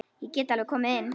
Ég get alveg komið inn.